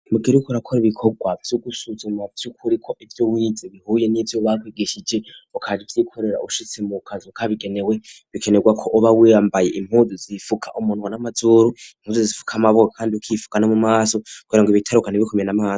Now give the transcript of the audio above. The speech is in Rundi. Mugihe uriko urakora ibikorwa vy'ugusuzuma vyukuri ivyo wize bihuye n'ivyo bakwigeshije ugaca uvy'ikorera ushitse mu kazu ka bigenewe bikenerwa ko uba wiyambaye impuzu zifuka umunwa n'amazuru impuzu zifuka amaboko kandi ukifukana mumaso kugirango ibitarukana ntibikumene amaso.